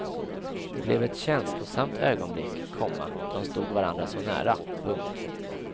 Det blev ett känslosamt ögonblick, komma de stod varandra så nära. punkt